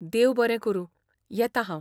देव बरें करूं, येता हांव!